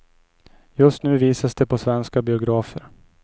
Just nu visas de på svenska biografer.